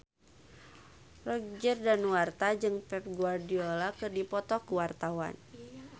Roger Danuarta jeung Pep Guardiola keur dipoto ku wartawan